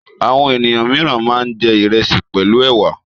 Àwọn ènìyàn mìíràn máa ń jẹ ìrẹsì pẹ̀lú ẹ̀wà.